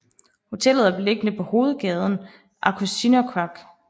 Hotellet er beliggende på hovedgaden Aqqusinersuaq